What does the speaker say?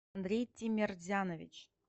андрей тимерзянович